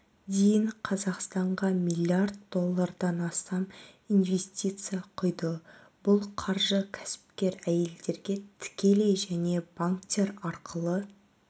дейін қазақстанаға млрд доллардан астам инвестиция құйды бұл қаржы кәсіпкер әйелдерге тікелей және банктер арқылы